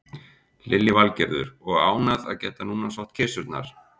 Lillý Valgerður: Og ánægð að geta núna sótt kisurnar?